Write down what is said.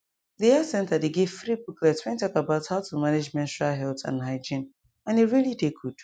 the health center dey give free booklets wen talk about how to manage menstrual health and hygiene and e really dey good